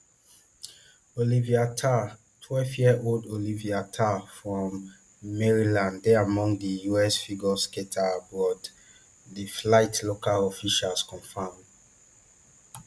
olivia ter twelveyearold olivia ter from maryland dey among di us figure skaters aboard di flight local officials confam